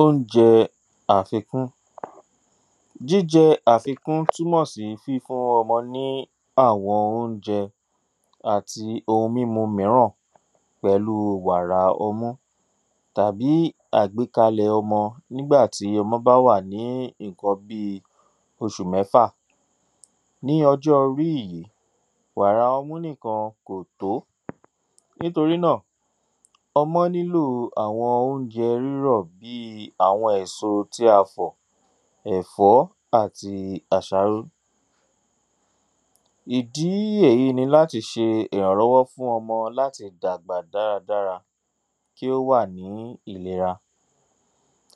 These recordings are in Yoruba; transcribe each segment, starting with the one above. Óunjẹ àfikún jíjẹ àfikún túmọ̀ sí fífún ọmọ ní àwọn óunjẹ́ àti ohun mímu mìíràn pẹ̀lu wàrà ọmú tàbí àgbékalẹ̀ ọmọ nígbà tí ọmọ bá wà ní ìnkan bíi oṣù mẹ́fà ní ọjó ríyí wàrà ọmú nìkan kò tó nítorí náà ọmọ nílò àwọn óunjẹ rírọ̀ bíi àwọn èsotí a fọ̀ ẹ̀fọ́ àti àsáró ìdí èyí ni láti ṣe ìrànlọ́wọ́ fún ọmọ láti dàgbà dáradára kí ó wà ní ìlera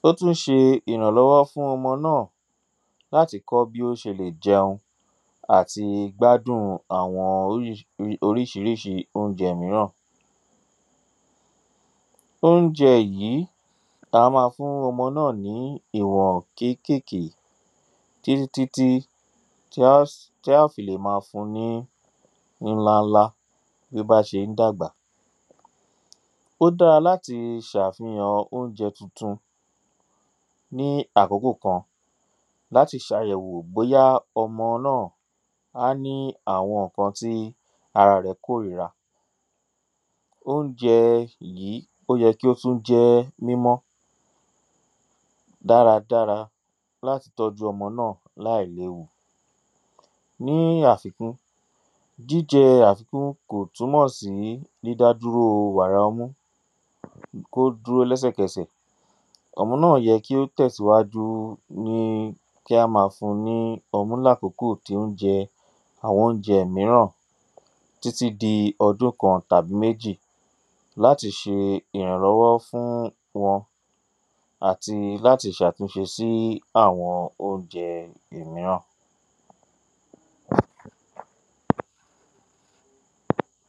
ó tú ń ṣe ìrànlọ́wọ́ fún ọmọ náà láti kọ́ bí ó ṣe lè jẹun àti gbádùn àwọn oríṣiríṣi óunjẹ míràn óunjẹ a máa fún ọmọ náà ní ìwọ̀ kékèké tí tí tí tí tí á fi lè ma fu ní ínlá lá bí ó ṣe ń dàgbà ó dára láti ṣàfihàn óunjẹ tuntun ní àkókò kan láti ṣàyẹ̀wò bóyá ọmọ náà á ní àwọn ǹkan ti ara rẹ̀ kó re ra óunjẹ yìí ó yẹ kí ó tú jẹ́ mímọ́ dára dára láti tọ́jú ọmọ náà láìléwu ní àfikún jíjẹ àfikún kò túmọ̀ sí dídá dúró wàra ọmú kó dúró lẹ́sẹ̀kẹsẹ̀ ọmọ náà yẹ kí ó tẹ̀síwájú ní kí á ma fun ní ọmú lákókò tí ó ń jẹ àwọn óunjẹ míràn tí tí di ọdún kan tàbí méjì láti ṣe ìrànlọ́wọ́ fún wọn àti láti ṣàtúnṣe sí àwọn óunjẹ ìmíràn